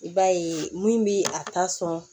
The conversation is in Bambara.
I b'a ye min bi a ta sɔn